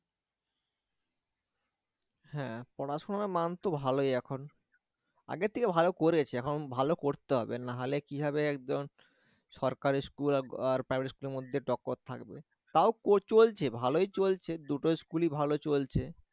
হ্যাঁ পড়াশোনার মান তো ভালই এখন আগের থেকে ভালো করেছে এখন ভালো করতে হবে না হলে কি হবে একজন সরকারি school আর private school এর মধ্যে টক্কর থাকবে তাও চলছে ভালোই চলছে দুটো school ই ভালো চলছে